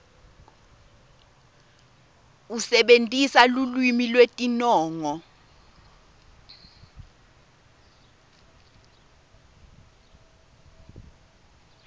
usebentisa lulwimi lwetinongo